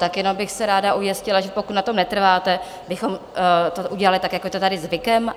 Tak jenom bych se ráda ujistila, že pokud na tom netrváte, bychom to udělali tak, jako je to tady zvykem.